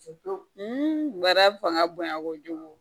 baara fanga bonya kojugu